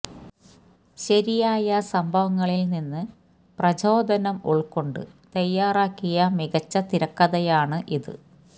ശരിയായ സംഭവങ്ങളില് നിന്ന് പ്രചോദനം ഉള്ക്കൊണ്ട് തയ്യാറാക്കിയ മികച്ച തിരക്കഥയാണ് ഇത്